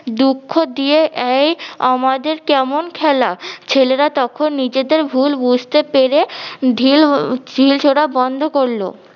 দুঃখ দিয়ে এয় আমাদের কেমন খেলা ছেলেরা তখন নিজেদের ভুল বুঝতে পেরে ঢিল ঢিল ছুড়া বন্ধ করলো।